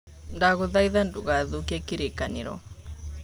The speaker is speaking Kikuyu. Ndagũthaitha ndũgathũkie kĩrĩkanĩro.